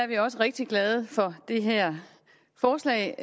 vi også rigtig glade for det her forslag